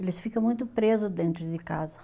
Eles ficam muito preso dentro de casa.